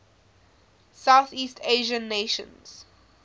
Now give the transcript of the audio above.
southeast asian nations